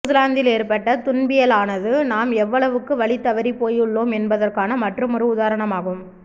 நியூசிலாந்தில் ஏற்பட்ட துன்பியலானது நாம் எவ்வளவுக்கு வழிதவறிப் போயுள்ளோம் என்பதற்கான மற்றுமொரு உதாரணமாகும்